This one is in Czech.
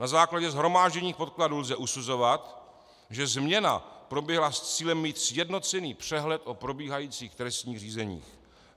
Na základě shromážděných podkladů lze usuzovat, že změna proběhla s cílem mít sjednocený přehled o probíhajících trestních řízeních.